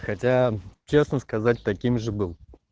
хотя честно сказать таким же был